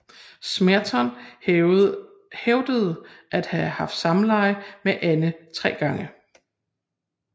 Smeaton hævdede at have haft samleje med Anne tre gange